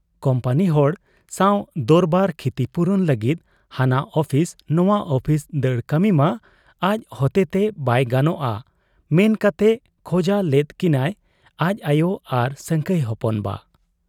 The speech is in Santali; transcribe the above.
ᱠᱩᱢᱯᱟᱹᱱᱤ ᱦᱚᱲ ᱥᱟᱶ ᱫᱚᱨᱵᱟᱨ, ᱠᱷᱤᱛᱤᱯᱩᱨᱚᱱ ᱞᱟᱹᱜᱤᱫ ᱦᱟᱱᱟ ᱚᱯᱷᱤᱥ ᱱᱟᱶᱟ ᱚᱯᱷᱤᱥ ᱫᱟᱹᱲ ᱠᱟᱹᱢᱤᱢᱟ ᱟᱡ ᱦᱚᱛᱮᱛᱮ ᱵᱟᱭ ᱜᱟᱱᱚᱜ ᱟ ᱢᱮᱱ ᱠᱟᱛᱮ ᱠᱷᱚᱸᱡᱟ ᱞᱮᱫ ᱠᱤᱱᱟᱭ ᱟᱡ ᱟᱭᱚ ᱟᱨ ᱥᱟᱹᱝᱠᱷᱟᱹᱭ ᱦᱚᱯᱚᱱ ᱵᱟ ᱾